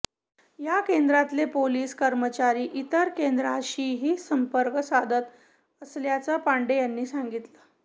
या केंद्रातले पोलिस कर्मचारी इतर केंद्रांशीही संपर्क साधत असल्याचं पांडे यांनी सांगितलं